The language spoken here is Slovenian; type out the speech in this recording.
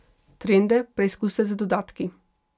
Trende preizkusite z dodatki.